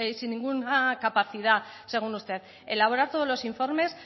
sin ninguna capacidad según usted elaborar todos los informes